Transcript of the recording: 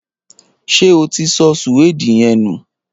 Ṣé o ti sọ suwede yen nù?